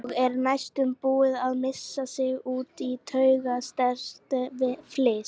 Og er næstum búin að missa sig út í taugastrekkt fliss.